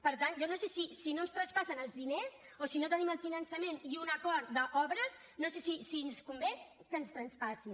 per tant si no ens traspassen els diners o si no tenim el finançament i un acord d’obres no sé si ens convé que ens les traspassin